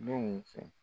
Denw fɛ